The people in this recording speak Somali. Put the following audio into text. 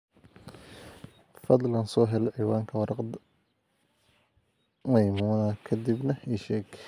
fadhlan soo hel ciwaanka warqada maimuna ka dibna ii sheeg